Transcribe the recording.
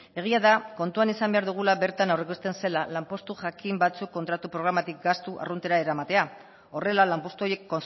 egia da kontuan izan behar dugula bertan hor ikusten zela lanpostu jakin batzuk kontratu programatik gastu arruntera eramatea horrela lanpostu horiek